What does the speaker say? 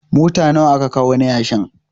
Mota nawa aka kawo na yashi?